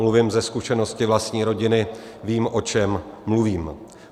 Mluvím ze zkušenosti vlastní rodiny, vím, o čem mluvím.